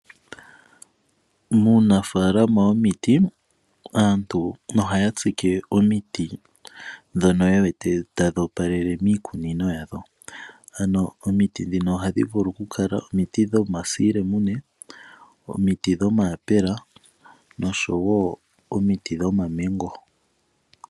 Muunafaalama womiti aantu ohaya tsike omiti ndhono ye wete tadhi opalele miikunino yadho. Ano omiti ndhino ohadhi vulu okukala omiti dhomasiilemune, omiti dhomayapela nosho wo omiti dhomaMango.